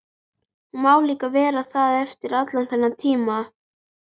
Hún má líka vera það eftir allan þennan tíma.